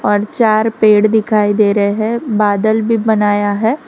और चार पेड़ दिखाई दे रहे है बादल भी बनाया है।